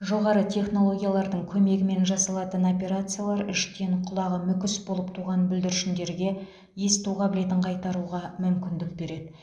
жоғары технологиялардың көмегімен жасалатын операциялар іштен құлағы мүкіс болып туған бүлдіршіндерге есту қабілетін қайтаруға мүмкіндік береді